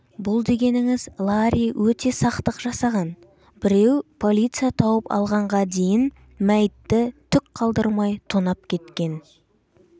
бұл дегеніңіз ларри өте сақтық жасаған біреу полиция тауып алғанға дейін мәйітті түк қалдырмай тонап кеткен